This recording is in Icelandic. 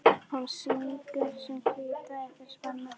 Hún sýgur sinn hvíta eitur spena.